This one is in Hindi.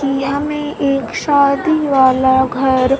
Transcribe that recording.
यहां में एक शादी वाला घर--